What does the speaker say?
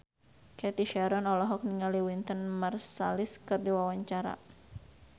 Cathy Sharon olohok ningali Wynton Marsalis keur diwawancara